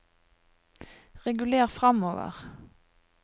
reguler framover